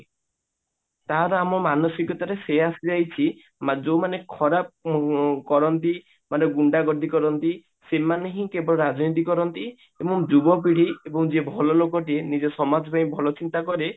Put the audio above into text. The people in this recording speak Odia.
ତାହାର ଆମ ମାନସିକତାରେ ସେଇଆ ଆସିଯାଇଛି ମାନେ ଯୋଉ ମାନେ ଖରାପ କରନ୍ତି ମାନେ ଗୁଣ୍ଡା ଗର୍ଦି କରନ୍ତି ସେମାନେ ହିଁ କେବଳ ରାଜନୀତି କରନ୍ତି ଏବଂ ଯୁବପିଢି ଏବଂ ଯିଏ ଭଲ ଲୋକ ଟିଏ ନିଜ ସମାଜ ପାଇଁ ଭଲ ଚିନ୍ତା କରେ